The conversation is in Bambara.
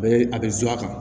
A bɛ a bɛ a kan